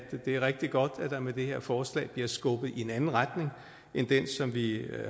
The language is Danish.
det er rigtig godt at der med det her forslag bliver skubbet i en anden retning end den som vi